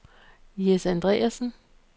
Jess Andreassen